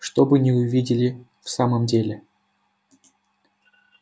чтобы не увидели в самом деле